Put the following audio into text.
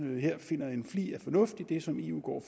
her finder en flig af fornuft i det som eu går og